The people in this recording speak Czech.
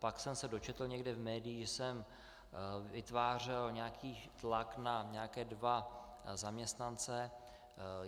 Pak jsem se dočetl někde v médiích, že jsem vytvářel nějaký tlak na nějaké dva zaměstnance.